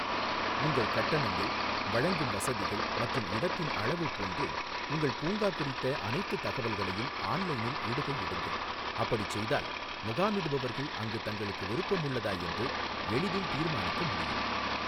உங்கள் கட்டணங்கள், வழங்கும் வசதிகள் மற்றும் இடத்தின் அளவு போன்று உங்கள் பூங்கா குறித்த அனைத்துத் தகவல்களையும் ஆன்லைனில் இடுகை இடுங்கள், அப்படிச் செய்தால் முகாமிடுபவர்கள் அங்கு தங்களுக்கு விருப்பம் உள்ளதா என்று எளிதில் தீர்மானிக்க முடியும்.